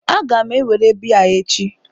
Aga m ewere biya echi